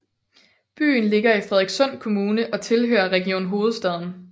Byen ligger i Frederikssund Kommune og tilhører Region Hovedstaden